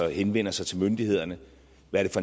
henvender sig til myndighederne